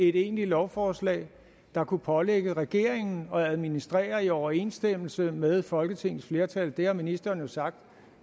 et egentligt lovforslag der kunne pålægge regeringen at administrere i overensstemmelse med folketingets flertal det har ministeren jo sagt